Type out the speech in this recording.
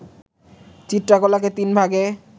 চিত্রকলাকে তিন ভাগে